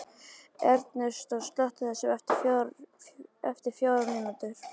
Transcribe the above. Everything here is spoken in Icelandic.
Ernestó, slökktu á þessu eftir fjórar mínútur.